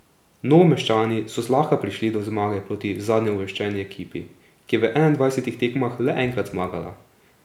Novomeščani so zlahka prišli do zmage proti zadnjeuvrščeni ekipi, ki je v enaindvajsetih tekmah le enkrat zmagala.